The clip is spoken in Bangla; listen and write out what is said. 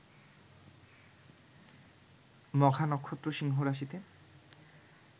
মঘা নক্ষত্র সিংহরাশিতে